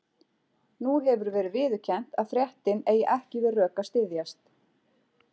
Nú hefur verið viðurkennt að fréttin eigi ekki við rök að styðjast.